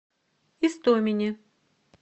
истомине